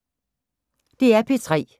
DR P3